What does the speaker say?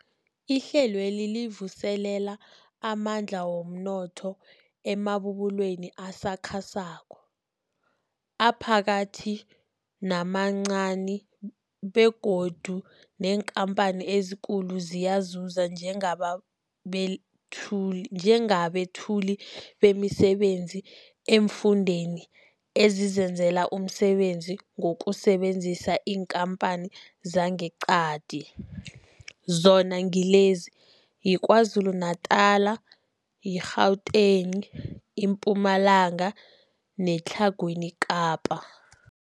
Ihlelweli livuselela amandla womnotho emabubulweni asakhasako, aphakathi namancani begodu neenkhamphani ezikulu ziyazuza njengabethuli bemisebenzi eemfundeni ezizenzela umsebenzi ngokusebenzisa iinkhamphani zangeqadi, zona ngilezi, yiKwaZulu Natala, i-Gauteng, iMpumalanga neTlhagwini Kapa.